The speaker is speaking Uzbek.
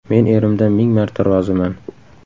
Men erimdan ming marta roziman.